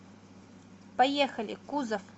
поехали кузов